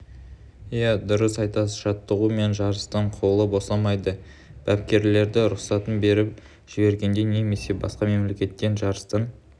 ия дұрыс айтасыз жаттығу мен жарыстан қолы босамайды бапкерлері рұқсатын беріп жібергенде немесе басқа мемлекеттен жарыстан